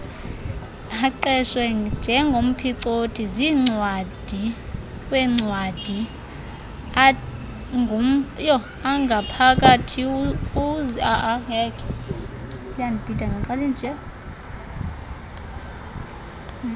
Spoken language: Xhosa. eqeshwe njengomphicothi zincwadiweencwadiwangaphakathiukuze